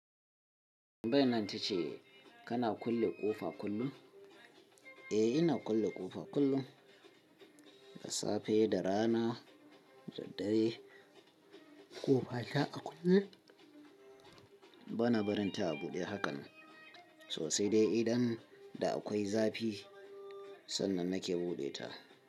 Tambeyab nan tace kana kulle ƙofa kullum? Eh, ina kulle ƙofa kullum, da safe da rana da dare. Ƙofa ta a kulle? Bana barin ta a buɗe haka sosai dai idan da akwai zafi sannan nake buɗe ta.